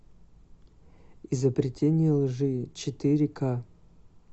изобретение лжи четыре ка